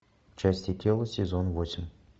части тела сезон восемь